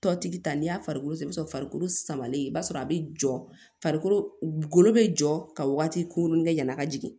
Tɔtigi ta n'i y'a farikolo i b'a sɔrɔ farikolo samalen i b'a sɔrɔ a bɛ jɔ farikolo golo be jɔ ka waati kunkurunin kɛ yan'a ka jigin